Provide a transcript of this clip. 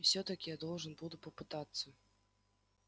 и всё-таки я должен буду попытаться